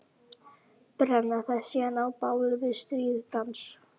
Brenna það síðan á báli við stríðsdans.